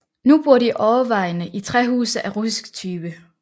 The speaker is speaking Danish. Nu bor de overvejende i træhuse af russisk type